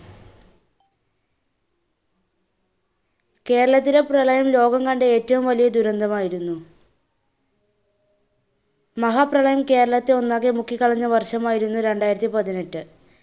കേരളത്തിലെ പ്രളയം ലോകം കണ്ട ഏറ്റവും വലിയ ദുരന്തമായിരുന്നു. മഹാപ്രളയം കേരളത്തെ ഒന്നാകെ മുക്കി കളഞ്ഞ വർഷമായിരുന്നു രണ്ടയിരത്തി പതിനെട്ട്.